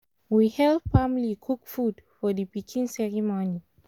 we help family cook food for the pikin ceremony